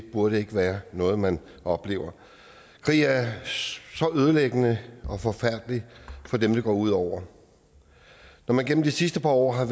det burde ikke være noget man oplever krig er så ødelæggende og forfærdelig for dem det går ud over når man gennem de sidste par år har